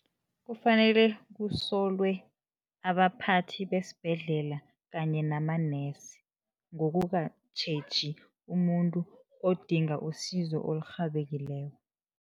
Kufanele kusolwe abaphathi besibhedlela kanye namanesi, ngokungatjheji umuntu odinga isizo elirhabekileko.